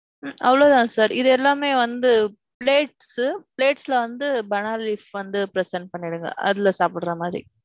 ம்ம். அவ்வளவு தான் sir. இது எல்லாமே வந்து, plates, plates ல வந்து banana leaf வந்து present பண்ணிடிங்க. அதுல சாப்பிடற மாதிரி.